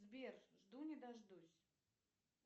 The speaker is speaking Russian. сбер жду не дождусь